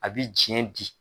A bi cɛn di